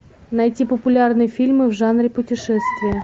найти популярные фильмы в жанре путешествия